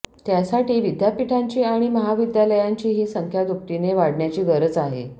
त्यासाठी विद्यापीठांची आणि महाविद्यालयांचीही संख्या दुपटीने वाढण्याची गरज आहे